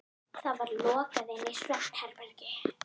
Það var lokað inn í svefnherbergið.